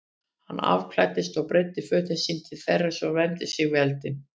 Hann afklæddist og breiddi fötin sín til þerris og vermdi sig við eldinn.